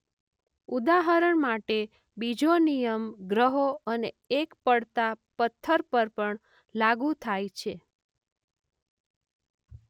ઉદાહરણ માટે બીજો નિયમ ગ્રહો અને એક પડતા પથ્થર પર પણ લાગૂ થાય છે.